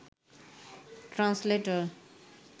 translator